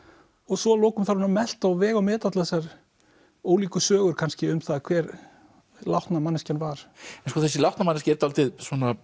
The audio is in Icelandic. svo að lokum þarf hún að melta og vega og meta allar þessar ólíku sögur kannski um það hver látna manneskjan var þessi látna manneskja er dálítið